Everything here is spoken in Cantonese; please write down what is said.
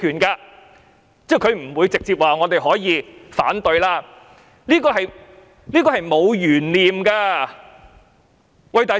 她不會直接說我們可以反對，這是沒有懸念的。